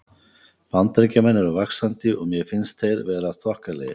Bandaríkjamenn eru vaxandi og mér finnst þeir vera þokkalegir.